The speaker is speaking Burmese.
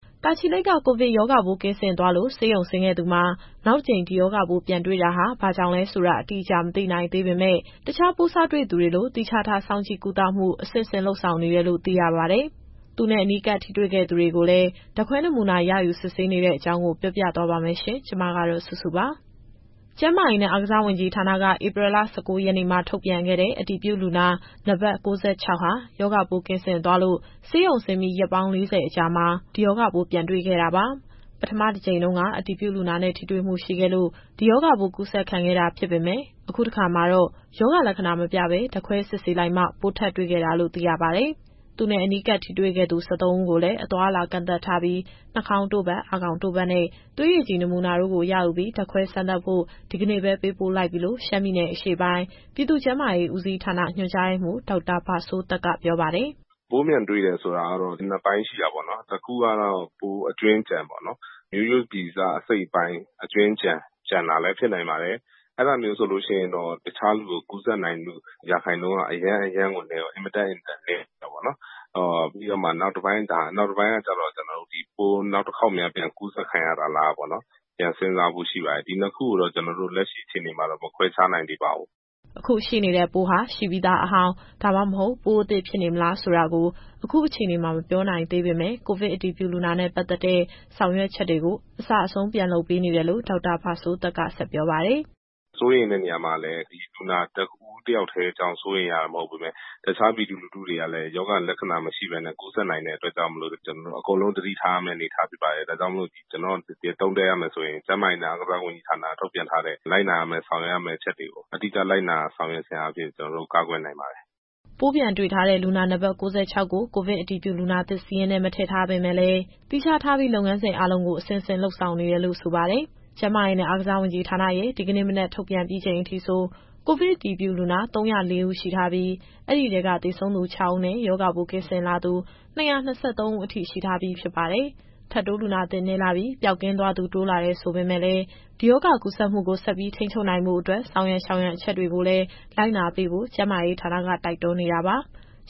တာချီလိတ်က ကိုဗစ်ရောဂါပိုး ကင်းစင်သွားလို့ ဆေးရုံဆင်းခဲ့သူ နောက်တကြိမ် ဒီရောဂါပိုးပြန်တွေ့တာဟာ ဘာကြောင့်လဲဆိုတာ အတိအကျမ သိနိုင်သေးပေမဲ့ တခြားပိုးစတွေ့သူတွေလို သီးခြားထားစောင့်ကြည့်ကုသမှု အဆင့်ဆင့်လုပ်ဆောင်နေတယ်လို့ သိရပါတယ်။ သူနဲ့အနီးကပ်ထိတွေ့ခဲ့သူတွေကိုလည်း ဓာတ်ခွဲနမူနာ ရယူစစ်ဆေးနေတဲ့အကြောင်း ဗွီအိုအေမြန်မာပိုင်း သတင်းထောက်စုစုက ပြောပြသွားမှာပါ။ ကျန်းမာရေးနဲ့ အားကစားဝန်ကြီးဌာနက ဧပြီလ ၁၉ ရက်နေ့မှာ ထုတ်ပြန်ခဲ့တဲ့ အတည်ပြုလူနာ နံပါတ် ၉၆ ဟာ ရောဂါပိုးကင်းစင်သွားလို့ ဆေးရုံဆင်းပြီး ရက် ၄၀ အကြာမှာ ဒီရောဂါပိုးပြန်တွေ့ခဲ့တာပါ။ ပထမတကြိမ်တုန်းက အတည်ပြုလူနာနဲ့ ထိတွေ့မှုရှိခဲ့လို့ ဒီရောဂါပိုးကူးစက်ခံခဲ့တာဖြစ်ပေမဲ့ အခုတခါမှာတော့ ရောဂါလက္ခဏာမပြဘဲ ဓာတ်ခွဲစစ်ဆေးလိုက်မှ ပိုးထပ်တွေ့ခဲ့တာလို့ သိရပါတယ်။ သူနဲ့ အနီးကပ်ထိတွေ့ခဲ့သူ ၁၃ ဦးကိုလည်း အသွားအလာ ကန့်သတ်ထားပြီး၊ နှာခေါင်းတို့ပတ်၊ အာခေါင်တို့ပတ်နဲ့ သွေးရည်ကြည်နမူနာတို့ကို ရယူပြီး ဓာတ်ခွဲစမ်းသပ်ဖို့ ဒီကနေ့ပဲ ပေးပို့လိုက်ပြီလို့ ရှမ်းပြည်နယ်အရှေ့ပိုင်း၊ ပြည်သူ့ကျန်းမာရေးဦးစီးဌာန ညွှန်ကြားရေးမှူး ဒေါက်တာဘစိုးသက်က ပြောပါတယ်။ “ပိုးပြန်တွေ့တယ်ဆိုတာကတော့ နှစ်ပိုင်းရှိတာပေါ့နော်။ တခုကတော့ ပိုးအကြွင်းအကျန်ပေါ့။ မျိုးရိုးဗီဇအစိတ်အပိုင်း အကြွင်းအကျန် ကျန်တာလည်း ဖြစ်နိုင်ပါတယ်။ အဲဒါမျိုးဆိုရင်တော့ တခြားလူကို ကူးစက်နိုင်မှု ရာခိုင်နှုန်းက အင်မတန်နည်းပါတယ်။ နောက်တပိုင်းကကျတော့ ပိုးနောက်တခေါက်များ ပြန်ကူးစက်ခံရတာလားပေါ့။ ပြန်စဉ်းစားဖို့ရှိပါတယ်။ ဒီနှစ်ခုကိုတော့ ကျနော်တို့ လက်ရှိအခြေအနေမှာတော့ မခွဲခြားနိုင်သေးပါဘူး။” အခုရှိနေတဲ့ပိုးဟာ ရှိနေပြီးသားအဟောင်း၊ ဒါမှမဟုတ် ပိုးအသစ်ဖြစ်နေမလားဆိုတာကို အခုအခြေအနေမှာ မပြောနိုင်သေးပေမဲ့ ကိုဗစ်အတည်ပြုလူနာနဲ့ ပတ်သက်တဲ့ ဆောင်ရွက်ချက်တွေကို အစအဆုံးပြန်လုပ်နေတယ်လို့ ဒေါက်တာဘစိုးသက်က ဆက်ပြောပါတယ်။ “စိုးရိမ်တဲ့နေရာမှာလည်း ဒီလူနာ တဦးတယောက်တည်းကြောင့် စိုးရိမ်ရတာ မဟုတ်ဘဲနဲ့ တခြားပြည်သူလူထုတွေကလည်း ဒီရောဂါလက္ခဏာ မရှိပေမဲ့ ကူးစက်နိုင်တဲ့အတွက်ကြောင့်မို့လို့ ကျနော်တို့အကုန်လုံး သတိထားရမယ့် အနေအထားဖြစ်ပါတယ်။ ဒါကြောင့်မို့ ကျနော့်အနေနဲ့ သုံးသပ်ရမယ်ဆိုရင် ကျန်းမာရေးနဲ့ အားကစားဝန်ကြီးဌာနက ထုတ်ပြန်ထားတဲ့ လိုက်နာရမယ့် ဆောင်ရွက်ရမယ့်အချက်တွေကို အတိအကျလိုက်နာ ဆောင်ရွက်ခြင်းအားဖြင့် ကျနော်တို့ကာကွယ်နိုင်ပါတယ်။” ပိုးပြန်တွေ့ထားတဲ့ လူနာနံပါတ် ၉၆ ကို ကိုဗစ်အတည်ပြုလူနာသစ် စာရင်းထဲ ထည့်မထားပေမဲ့လည်း သီးခြားထားပြီး လုပ်ငန်းစဉ်အားလုံးကို အဆင့်ဆင့်လုပ်ဆောင်နေတယ်လို့ ဆိုပါတယ်။ ကျန်းမာရေးနဲ့ အားကစားဝန်ကြီးဌာနရဲ့ ဒီကနေ့ မနက်ထုတ်ပြန်ပြီးချိန်အထိဆို ကိုဗစ်အတည်ပြုလူနာ ၃၀၄ ဦးရှိထားပြီး၊ အဲဒီထဲက သေဆုံးသူ ၆ ဦးနဲ့ ရောဂါပိုးကင်းစင်လာသူ ၂၂၃ ဦးအထိ ရှိထားပြီးဖြစ်ပါတယ်။ ထပ်တိုးလူနာသစ် နည်းလာပြီး၊ ပျောက်ကင်းသွားသူ တိုးလာတယ်ဆိုပေမယ့်လည်း ဒီရောဂါကူးစက်မှုကို ဆက်ပြီးထိန်းချုပ်နိုင်ဖို့အတွက် ဆောင်ရန်ရှောင်ရန်အချက်တွေကို လိုက်နာပေးဖို့ ကျန်းမာရေးဌာနက တိုက်တွန်းနေတာပါ။